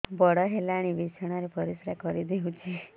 ବଡ଼ ହେଲାଣି ବିଛଣା ରେ ପରିସ୍ରା କରିଦେଉଛି